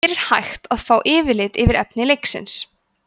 hér er hægt er að fá yfirlit yfir efni leiksins